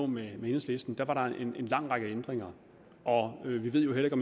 med enhedslisten der lå var der en lang række ændringer og vi ved jo heller ikke